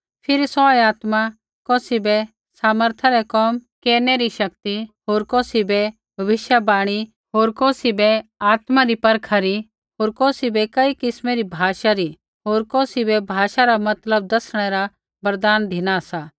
फिरी सौऐ आत्मा कौसी बै सामर्था रै कोम केरनै री शक्ति होर कौसी बै भविष्यवाणी री होर कौसी बै आत्मा री परखा री होर कौसी बै कई किस्मा री भाषा री होर कौसी बै भाषा रा मतलब दसणै रा वरदान धिना सा